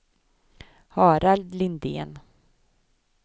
Harald Lindén